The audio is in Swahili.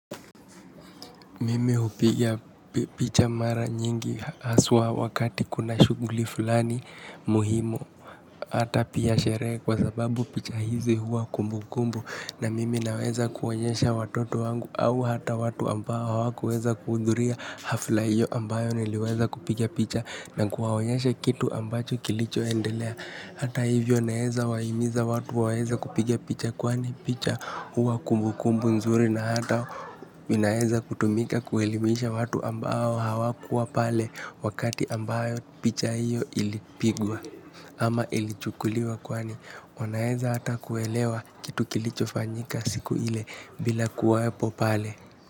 Mimi hupigia picha mara nyingi haswa wakati kuna shughuli fulani muhimu. Hata pia sherehe kwa sababu picha hizi huwa kumbukumbu. Na mimi naweza kuonyesha watoto wangu au hata watu ambao hawakuweza kuhudhuria hafla hiyo ambayo niliweza kupigia picha. Na kuwaonyesha kitu ambacho kilichoendelea. Hata hivyo naweza wahimiza watu waweza kupigia picha. Kwani picha huwa kumbukumbu nzuri na hata inaweza kutumika kuelimisha watu ambao hawakuwa pale wakati ambayo picha iyo ilipigwa ama ilichukuliwa kwani wanaweza hata kuelewa kitu kilicho fanyika siku ile bila kuwepo pale.